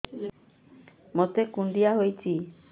ମୋତେ କୁଣ୍ଡିଆ ହେଇଚି